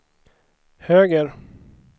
höger